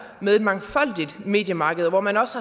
med et mangfoldigt mediemarked hvor man også